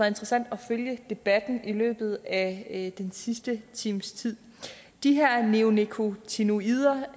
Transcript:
interessant at følge debatten i løbet af den sidste times tid de her neonikotinoider